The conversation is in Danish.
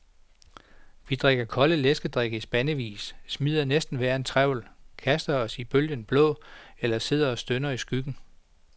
Vi drikker kolde læskedrikke i spandevis, smider næsten hver en trevl, kaster os ud i bølgen blå eller sidder og stønner i skyggen.